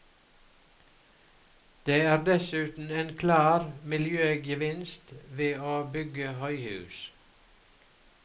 Det er dessuten en klar miljøgevinst ved å bygge høyhus.